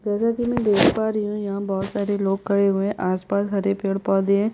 जैसा की मैं देख पा रही हूँ यहाँ बहोत सारे लोग खड़े हुए है आसपास हरे पेड़ - पौधे हैं।